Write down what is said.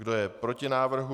Kdo je proti návrhu?